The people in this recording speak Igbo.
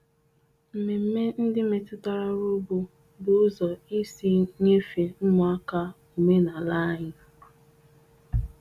Mmemme ndị metụtara ọrụ ugbo bụ ụzọ isi nyefee ụmụaka omenala anyị.